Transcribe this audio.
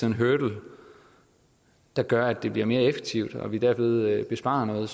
en hurdle der gør at det bliver mere effektivt og vi derved sparer nogle